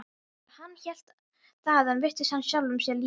Þegar hann hélt þaðan virtist hann sjálfum sér líkastur.